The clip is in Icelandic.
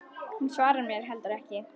Hún svarar mér heldur ekki.